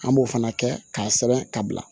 An b'o fana kɛ k'a sɛbɛn ka bila